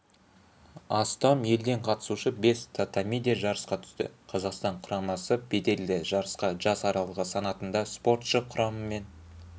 астам елден қатысушы бес татамиде жарысқа түсті қазақстан құрамасы беделді жарысқа жас аралығы санатында спортшы құрамымен